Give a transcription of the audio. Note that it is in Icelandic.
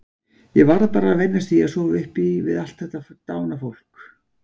Ég varð bara að venjast því að sofa upp við allt þetta dána fólk.